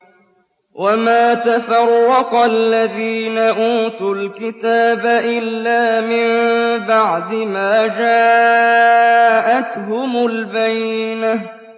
وَمَا تَفَرَّقَ الَّذِينَ أُوتُوا الْكِتَابَ إِلَّا مِن بَعْدِ مَا جَاءَتْهُمُ الْبَيِّنَةُ